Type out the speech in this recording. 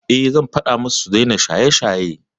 Eh, zan faɗa musu su daina shaye-shaye.